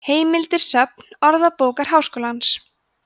heimildir söfn orðabókar háskólans